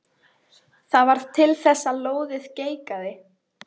Það varð til þess að lóðið geigaði.